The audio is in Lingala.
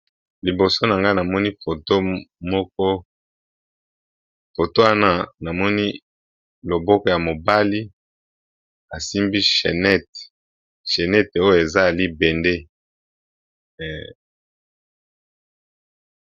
Liboso nanga namoni foto moko foto wana namoni, loboko ya mobali asimbi chenete oyo eza libende.